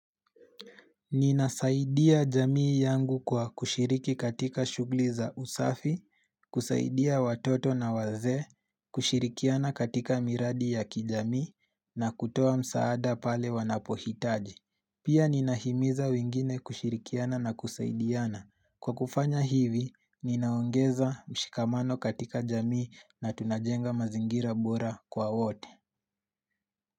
Ninasaidia jamii yangu kwa kushiriki katika shughuli za usafi, kusaidia watoto na wazee, kushirikiana katika miradi ya kijamii na kutoa msaada pale wanapohitaji. Pia ninahimiza wengine kushirikiana na kusaidiana. Kwa kufanya hivi, ninaongeza mshikamano katika jamii na tunajenga mazingira bora kwa wote.